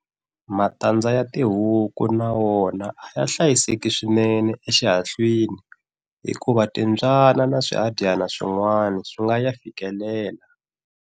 Matandza ya tihuku na wona a ya hlayiseka swinene exihahlwini hikuva timbyana na swihadyana swin'wana a swi nga ya fikeleli.